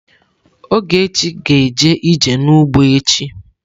Ogechi ga-eje ije n'ugbo echi.